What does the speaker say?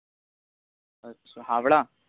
আচ্ছা হাওড়া?